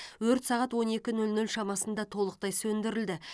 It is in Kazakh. өрт сағат он екі нөл нөл шамасында толықтай сөндірілді